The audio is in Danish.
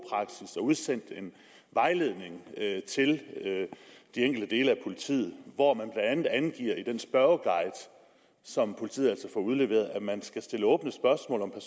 udsendt en vejledning til de enkelte dele af politiet hvor man i den spørgeguide som politiet altså får udleveret at man skal stille åbne spørgsmål om